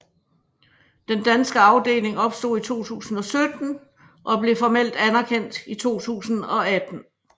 Den danske afdeling opstod i 2017 og blev formelt anerkendt i 2018